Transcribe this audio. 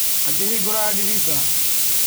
Akĩhingũra ndirica.